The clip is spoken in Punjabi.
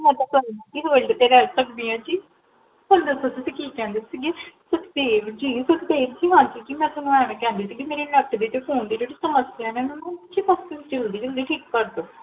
ਮੈਂ ਤਾ ਪੂਰੀ ਜ਼ਿੰਦਗੀ Hold ਤੇ ਰਹ ਸਕਦੀ ਹਾਂ ਜੀ ਹੁਣ ਦੱਸੋ ਤੁਸੀਂ ਕੀ ਕਹੰਦੇ ਸੀ ਸੁਖਦੇਵ ਜੀ, ਸੁਖਦੇਵ ਜੀ, ਹਾਂਜੀ ਜੀ, ਮੈਂ ਤੁਹਾਨੂ ਐਵੇ ਕੇਹਂਦੀ ਸੀ ਮੇਰੇ Net ਤੇ Phone ਦੀ ਜੇੜੀ ਸਮਸਿਆ ਓਹਨੂੰ ਛੇਤੀ ਠੀਕ ਕਰ ਦੋ